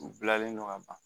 U bilalen don ka ban